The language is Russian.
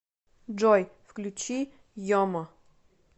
джой включи йомо